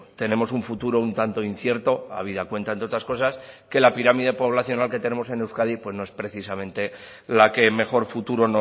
tenemos un futuro un tanto incierto habida cuenta entre otras cosas que la pirámide poblacional que tenemos en euskadi pues no es precisamente la que mejor futuro